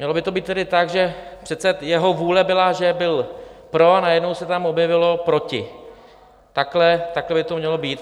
Mělo by to být tedy tak, že přece jeho vůle byla, že byl pro, a najednou se tam objevilo proti, takhle by to mělo být.